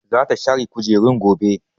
Zata share kujerun gobe.